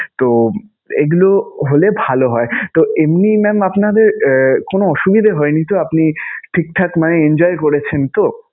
তো এগুলো হলে ভালো হয়. তো এমনি mam আপনাদের কোন অসুবিধা হয়নি তো? আপনি ঠিকঠাক মানে enjoy করেছেন তো?